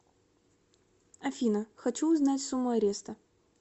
афина хочу узнать сумму ареста